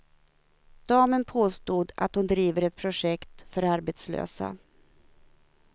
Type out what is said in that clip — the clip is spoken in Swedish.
Damen påstod att hon driver ett projekt för arbetslösa.